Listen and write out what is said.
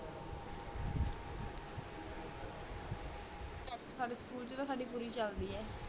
ਸਾਡੇ ਸਕੂਲ ਚ ਤਾ ਸਾਡੀ ਪੁਰੀ ਚਲਦੀ ਹੈ